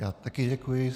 Já také děkuji.